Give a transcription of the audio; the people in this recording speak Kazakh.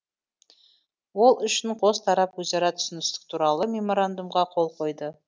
ол үшін қос тарап өзара түсіністік туралы меморандумға қол қойды